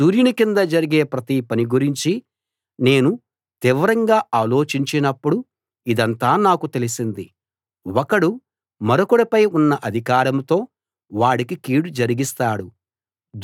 సూర్యుని కింద జరిగే ప్రతి పని గురించి నేను తీవ్రంగా ఆలోచించినప్పుడు ఇదంతా నాకు తెలిసింది ఒకడు మరొకడిపై ఉన్న అధికారంతో వాడికి కీడు జరిగిస్తాడు